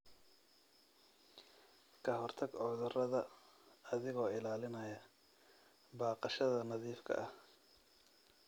Ka hortag cudurada adigoo ilaalinaya baqashada nadiifka ah.